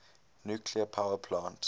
nuclear power plant